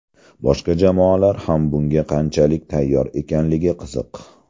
Boshqa jamoalar ham bunga qanchalik tayyor ekanligi qiziq.